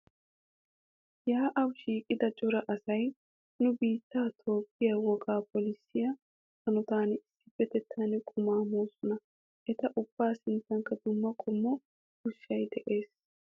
Yaa'aa shiiqida cora asay nu biittee Toophphee wogaa phoolissiya hanotan issippetettan qumaa moosona. Eta ubbaa sinttankka dumma qommo ushshay de'es.